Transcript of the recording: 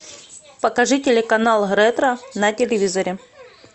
покажи телеканал ретро на телевизоре